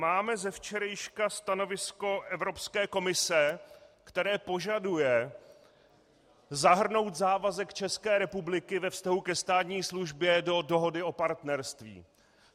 Máme ze včerejška stanovisko Evropské komise, které požaduje zahrnout závazek České republiky ve vztahu ke státní službě do dohody o partnerství.